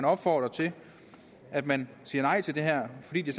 opfordrer til at man siger nej til det her fordi det